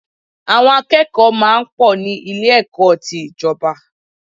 Àwọn akẹ́kọ̀ọ́ máa ń pọ̀ ní Ilé-ẹ̀kọ́ ti ìjọba